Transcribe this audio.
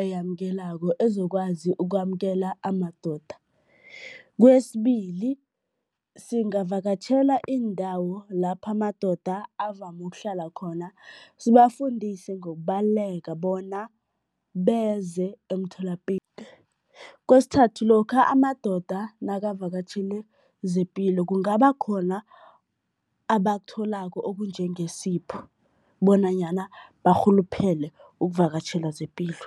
eyamukelako, ezokwazi ukwamukela amadoda. Kwesibili, singavakatjhela iindawo lapho amadoda avame ukuhlala khona, sibafundise ngokubaluleka bona beze . Kwesithathu, lokha amadoda nakavakatjhele zepilo, kungaba khona abakutholako okunjengesipho bonanyana barhuluphele ukuvakatjhela zepilo.